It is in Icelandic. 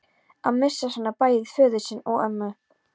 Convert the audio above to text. Að missa svona bæði föður sinn og ömmu